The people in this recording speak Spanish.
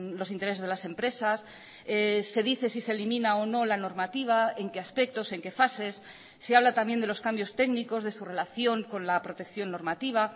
los intereses de las empresas se dice si se elimina o no la normativa en qué aspectos en qué fases se habla también de los cambios técnicos de su relación con la protección normativa